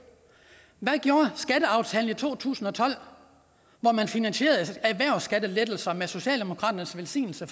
hvad gjorde skatteaftalen i to tusind og tolv hvor man finansierede erhvervsskattelettelser med socialdemokratiets velsignelse